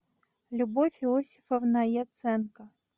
любовь иосифовна яценко